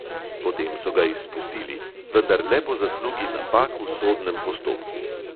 Potem so ga izpustili – vendar le po zaslugi napak v sodnem postopku.